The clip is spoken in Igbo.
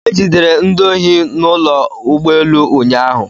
E jidere ndị ohi n'ụlọ ụgbọelu ụnyaahụ?